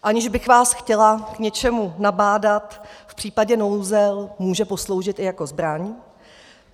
Aniž bych vás chtěla k něčemu nabádat, v případě nouze může posloužit i jako zbraň.